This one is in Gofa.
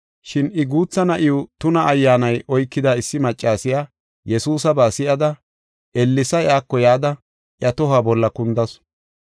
Shin I guutha na7iw tuna ayyaanay oykida issi maccasiya Yesuusaba si7ada ellesa iyako yada iya tohuwa bolla kundasu.